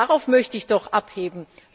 Darauf möchte ich doch abstellen.